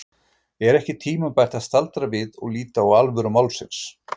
Er ekki tímabært að staldra við og líta á alvöru málsins?